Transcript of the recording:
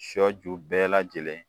Sɔ ju bɛɛ lajɛlen